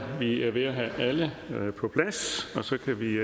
vi er ved at have alle på plads og så kan vi